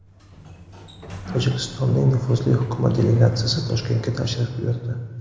Tojikistonning nufuzli hukumat delegatsiyasi Toshkentga tashrif buyurdi.